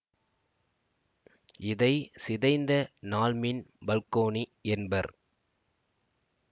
இதை சிதைந்த நாள்மீன் பல்கோணி என்பர்